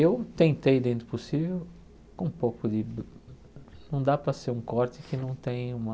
Eu tentei dentro do possível, com um pouco de... Não dá para ser um corte que não tem uma...